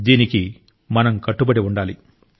దీనికి మనం కట్టుబడి ఉండాలి